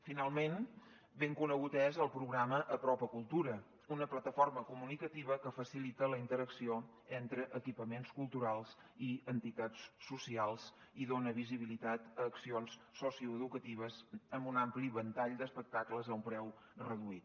finalment ben conegut és el programa apropa cultura una plataforma comunicativa que facilita la interacció entre equipaments culturals i entitats socials i dona visibilitat a accions socioeducatives amb un ampli ventall d’espectacles a un preu reduït